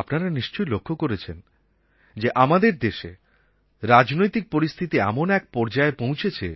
আপনারা নিশ্চয়ই লক্ষ করেছেন যে আমাদের দেশে রাজনৈতিক পরিস্থিতি এমন এক পর্যায়ে পৌঁছেছে